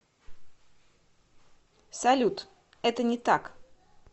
салют это не так